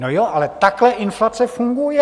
No jo, ale takhle inflace funguje!